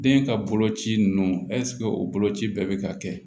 Den ka boloci nunnu o boloci bɛɛ bɛ ka kɛ